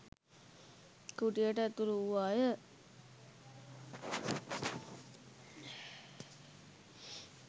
කුටියට ඇතුළු වූවාය.